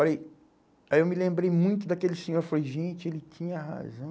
Falei, aí eu me lembrei muito daquele senhor, falei, gente, ele tinha razão.